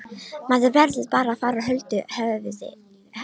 Maður verður bara að fara huldu höfði áfram.